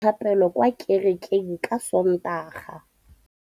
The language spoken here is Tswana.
Bommê ba tla dira dithapêlô kwa kerekeng ka Sontaga.